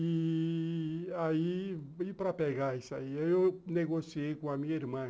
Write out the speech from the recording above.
E aí, para pegar isso aí, eu negociei com a minha irmã.